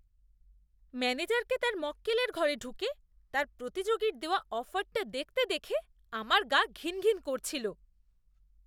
ম্যানেজারকে তার মক্কেলের ঘরে ঢুকে তার প্রতিযোগীর দেওয়া অফারটা দেখতে দেখে আমার গা ঘিন ঘিন করছিল।